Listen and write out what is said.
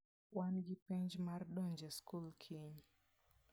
Wan gi penj mar donjo e skul kiny.